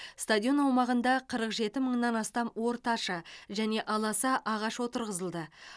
стадион аумағында қырық жеті мыңнан астам орташа және аласа ағаш отырғызылды